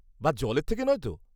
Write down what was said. -বা জলের থেকে নয় তো?